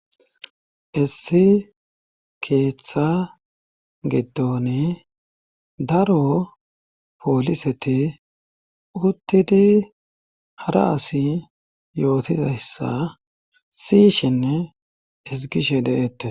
issi keeththa gidoni daro pooliseti uttidi hara asi yootizayssa siyshinne ezgishe de7eettes